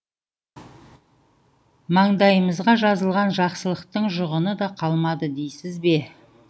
маңдайымызға жазылған жақсылықтың жұғыны да қалмады дейсіз бе